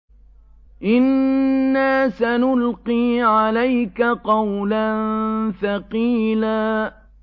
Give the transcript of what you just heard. إِنَّا سَنُلْقِي عَلَيْكَ قَوْلًا ثَقِيلًا